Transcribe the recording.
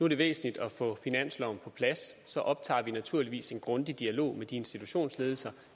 det væsentligt at få finansloven på plads så optager vi naturligvis en grundig dialog med de institutionsledelser